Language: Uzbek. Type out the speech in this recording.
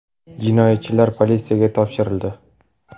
Jinoyatchilar politsiyaga topshirildi.